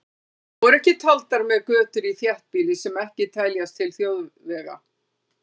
Þá eru ekki taldar með götur í þéttbýli sem ekki teljast til þjóðvega.